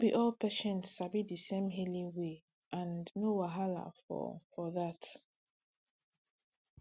no be all patients sabi di same healing way and no wahala for for dat